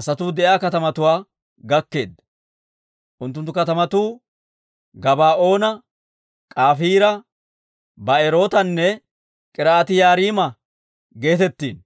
asatuu de'iyaa katamatuwaa gakkeeddino. Unttunttu katamatuu Gabaa'oona, Kafiira, Ba'erootanne K'iriyaati-Yi'aariima geetettino.